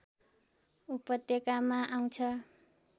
उपत्यकामा आउँछ